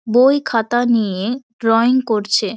বই খাতা নিয়ে-এ ড্রয়িং করছে।